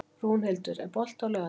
Rúnhildur, er bolti á laugardaginn?